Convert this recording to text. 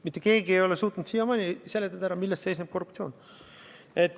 Mitte keegi ei ole suutnud siiamaani ära seletada, milles seisneb korruptsioon.